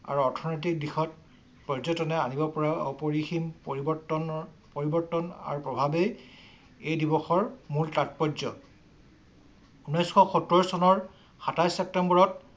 আৰু অৰ্থনৈতিক দিশত পৰ্যটনে আনিব পৰা অপৰিসীম পৰিৱৰ্তনৰ পৰিৱৰ্তন আৰু প্ৰভাৱেই এই দিৱসৰ মূল তাৎপৰ্য। ঊনৈশ সত্তৰ চনৰ সাতাইছ ছেপ্টেম্বৰত